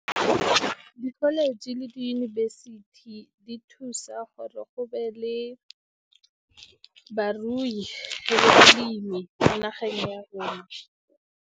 Di-college le diyunibesithi di thusa gore go be le barui le balemi ko nageng ya rona.